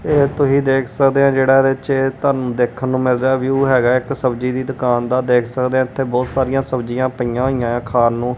ਇਹ ਤੁਸੀ ਦੇਖ ਸਕਦੇ ਹੋ ਜੇਹੜਾ ਇਹਦੇ ਚ ਤੁਹਾਨੂੰ ਦੇਖਨ ਨੂੰ ਮਿਲ ਰਿਹਾ ਹੈ ਵਿਊ ਹੈਗਾ ਆ ਇੱਕ ਸਬਜ਼ੀ ਦੀ ਦੁਕਾਨ ਦਾ ਦੇਖ ਸਕਦੇ ਹੋ ਇਥੇ ਬੋਹਤ ਸਾਰੀਆਂ ਸਬਜ਼ੀਆਂ ਪਈਆਂ ਹੋਇਆਂ ਖਾਨ ਨੂੰ।